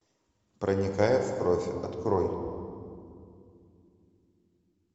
проникая в кровь открой